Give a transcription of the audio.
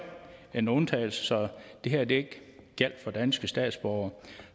en undtagelse så det her ikke gjaldt for danske statsborgere